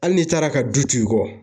Hali n'i taara ka du t'i kɔ